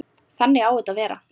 Þannig á þetta að vera.